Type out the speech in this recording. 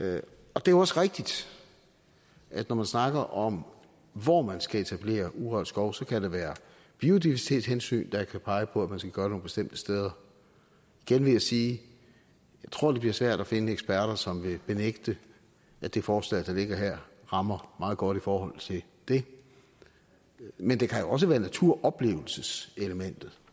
og det er også rigtigt at når man snakker om hvor man skal etablere urørt skov så kan der være biodiversitetshensyn der kan pege på at man skal gøre det nogle bestemte steder igen vil jeg sige at jeg tror det bliver svært at finde eksperter som vil benægte at det forslag der ligger her rammer meget godt i forhold til det men det kan også være naturoplevelseselementet